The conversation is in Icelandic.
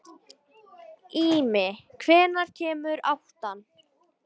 Ími, hvenær kemur áttan?